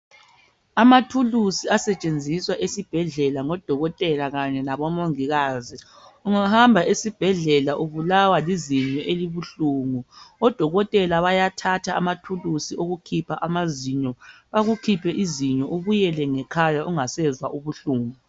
Amathuluzi asetshenziswa esibhedlela ngodokotela kanye labomongikazi. Ungahamba esibhedlela ubulawa lizinyo elibuhlungu odokotela bayathatha amathuluzi okukhipha amazinyo. Bakukhiphe izinyo ubuyele ngekhaya ungasezwa ubuhlungu.